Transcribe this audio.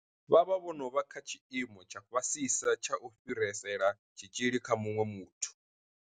Vha vha vho no vha kha tshiimo tsha fhasisa tsha u fhirisela tshitzhili kha muṅwe muthu.